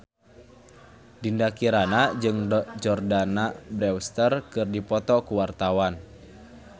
Dinda Kirana jeung Jordana Brewster keur dipoto ku wartawan